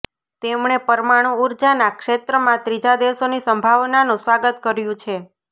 તેમણે પરમાણુ ઉર્જાના ક્ષેત્રમાં ત્રીજા દેશોની સંભાવનાનું સ્વાગત કર્યું છે